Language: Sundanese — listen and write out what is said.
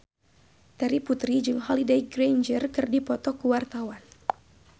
Terry Putri jeung Holliday Grainger keur dipoto ku wartawan